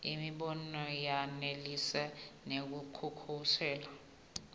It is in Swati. imibono ayenelisi kunekusekela